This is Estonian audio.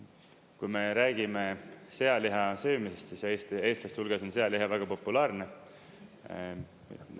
Kui me räägime sealiha söömisest, siis eestlaste hulgas on sealiha väga populaarne.